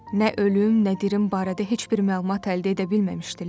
Nə ölüm, nə dirim barədə heç bir məlumat əldə edə bilməmişdilər.